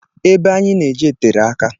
Ebe anyị na-eje tere aka